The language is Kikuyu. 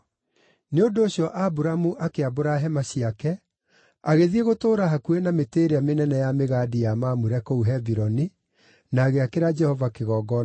Nĩ ũndũ ũcio Aburamu akĩambũra hema ciake, agĩthiĩ gũtũũra hakuhĩ na mĩtĩ ĩrĩa mĩnene ya mĩgandi ya Mamure kũu Hebironi, na agĩakĩra Jehova kĩgongona hau.